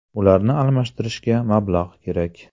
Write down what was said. Ularni almashtirishga mablag‘ kerak.